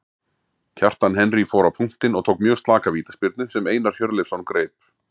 Kjartan Henry fór á punktinn og tók mjög slaka vítaspyrnu sem Einar Hjörleifsson greip.